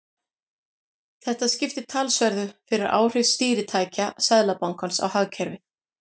Þetta skiptir talsverðu fyrir áhrif stýritækja Seðlabankans á hagkerfið.